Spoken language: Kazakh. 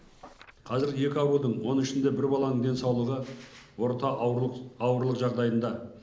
қазір екі аурудың оның ішінде бір баланың денсаулығы орта ауырлық ауырлық жағдайында